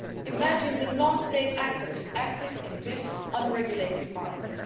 Imagine the non state actors active in this unregulated market.